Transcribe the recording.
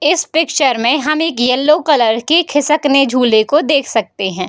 इस पिक्चर में हम एक येलो कलर की खिसकने झूले को देख सकते हैं।